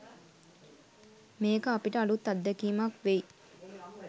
මේක අපිට අලුත් අත්දැකීමක් වෙයි.